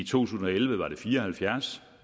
tusind og elleve var det fire og halvfjerds